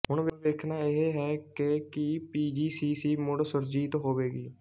ਹੁਣ ਵੇਖਣਾ ਇਹ ਹੈ ਕਿ ਕੀ ਪੀਜੀਸੀਸੀ ਮੁੜ ਸੁਰਜੀਤ ਹੋਵੇਗੀ